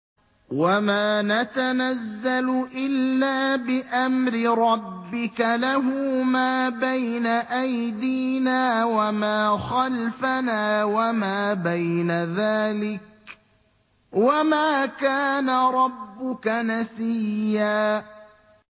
وَمَا نَتَنَزَّلُ إِلَّا بِأَمْرِ رَبِّكَ ۖ لَهُ مَا بَيْنَ أَيْدِينَا وَمَا خَلْفَنَا وَمَا بَيْنَ ذَٰلِكَ ۚ وَمَا كَانَ رَبُّكَ نَسِيًّا